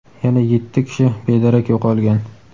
yana yetti kishi bedarak yo‘qolgan.